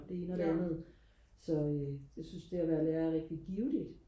og det ene og det andet så øh jeg synes det og være lærer er rigtig givende